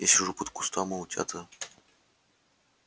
я сижу под кустом а утята